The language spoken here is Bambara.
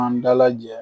An dalajɛ